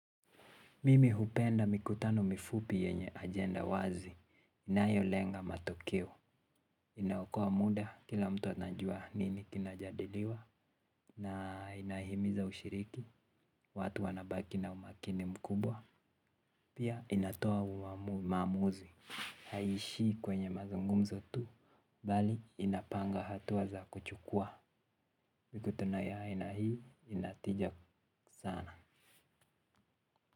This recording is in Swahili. Mimi hupenda mikutano mifupi yenye agenda wazi, inayo lenga matokeo, inaokoa muda kila mtu anajua nini kinajadiliwa, na inahimiza ushiriki, watu wanabaki na umakini mkubwa, pia inatoa maamuzi, haishii kwenye mazungumzo tu, bali inapanga hatua za kuchukua, mikuta no ya aina hii inatija sana.